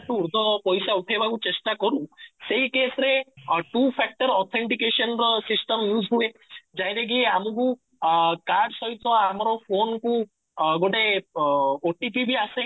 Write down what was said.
ତ ପଇସା ଉଠେଇବାକୁ ତ ଚେଷ୍ଟା କରୁ ସେଇ କେସ ରେ two factor authentication ର system use ହୁଏ directly ଆମକୁ ଅଂ କାର୍ଡ ସହିତ ଆମର ଫୋନ କୁ ଗୋଟେ ଉମ OTP ବି ଆସେ